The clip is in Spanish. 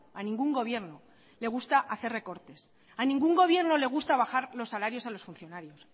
a ningún gobierno le gusta hacer recortes a ningún gobierno le gusta bajar los salarios a los funcionarios